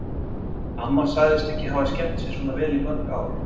Amma sagðist ekki hafa skemmt sér svona vel í mörg ár.